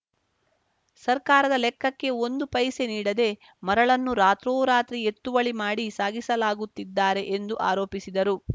ಸರ್ಕಾರದ ಲೆಕ್ಕಕ್ಕೆ ಒಂದು ಪೈಸೆ ನೀಡದೆ ಮರಳನ್ನು ರಾತ್ರೋರಾತ್ರಿ ಎತ್ತುವಳಿ ಮಾಡಿ ಸಾಗಿಸಲಾಗುತ್ತಿದ್ದಾರೆ ಎಂದು ಆರೋಪಿಸಿದರು